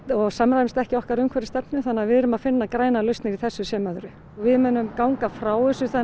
og samræmist ekki okkar umhverfisstefnu þannig að við erum að finna grænar lausnir í þessu sem öðru við munum ganga frá þessu